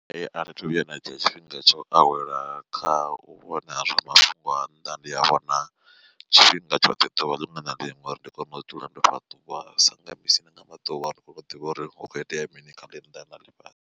Athi thu vhuya nda dzhia tshifhinga tsho awela kha u vhona zwa mafhungo a nnḓa ndi a vhona tshifhinga tshoṱhe ḓuvha liṅwe na liṅwe uri ndi kone u dzula ndo fhaṱuwa sanga misi nanga maḓuvha ndi kone u ḓivha uri hu kho itea mini kha ḽinnḓa na ḽifhasi.